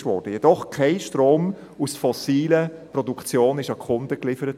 Es wurde jedoch kein Strom aus fossilen Produktionen an die Kunden geliefert.